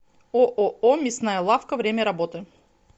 ооо мясная лавка время работы